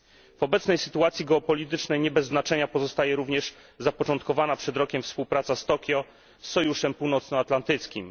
W obecnej sytuacji geopolitycznej nie bez znaczenia pozostaje również zapoczątkowana przed rokiem współpraca Tokio z Sojuszem Północnoatlantyckim.